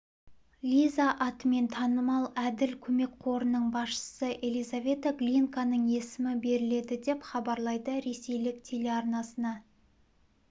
лиза атымен танымал әділ көмек қорының басшысы елизавета глинканың есімі беріледі деп хабарлайды ресейлік телеарнасына